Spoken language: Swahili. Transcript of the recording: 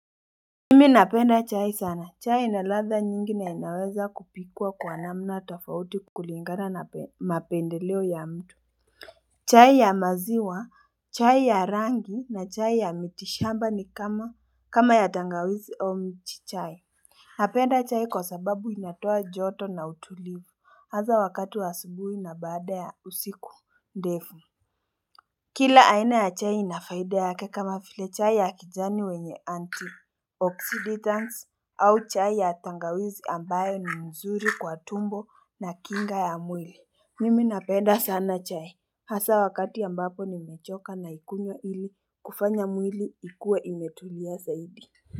Nimi ninapenda chai sana. Chai inaladha nyingi na inaweza kupikwa kwa namna tofauti kulingana na mapendeleo ya mtu. Chai ya maziwa, chai ya rangi na chai ya mitishamba ni kama ya tangawizi or miti chai. Napenda chai kwasababu inatoa joto na utulivu. Hasa wakati wa asubuhi na baada ya usiku ndefu. Kila aina ya chai ina faida yake kama vile chai ya kijani wenye anti oxidants au chai ya tangawizi ambayo ni mzuri kwa tumbo na kinga ya mwili Mimi napenda sana chai hasa wakati ambapo nimechoka naikunywa ili kufanya mwili ikuwe imetulia zaidi.